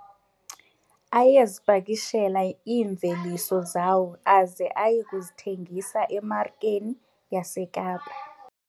Ayezipakishela iimveliso zawo aze aye kuzithengisa emarikeni yaseKapa.